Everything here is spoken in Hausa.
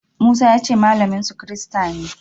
Musa ya ce malaminsu kirista ne.